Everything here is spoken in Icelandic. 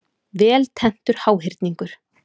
Vel tenntur háhyrningur.